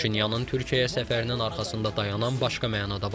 Paşinyanın Türkiyəyə səfərinin arxasında dayanan başqa məna da var.